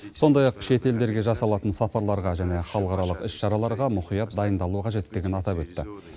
сондай ақ шет елдерге жасалатын сапарларға және халықаралық іс шараларға мұқият дайындалу қажеттігін атап өтті